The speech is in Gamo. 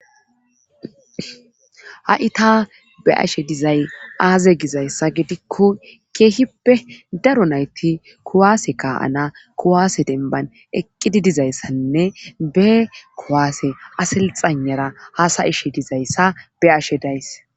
Ha'i ta be ashe dizay aaze gizayssa gidikko keehippe daro nayti kuwaase kaa'ana kuwaase denban eqqidi dizayssanne be kuwaase asilxanara hasayishe dizayssa be ashe days.